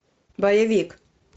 боевик